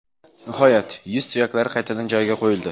Nihoyat, yuz suyaklari qaytadan joyiga qo‘yildi.